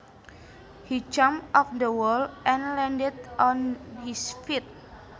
He jumped off the wall and landed on his feet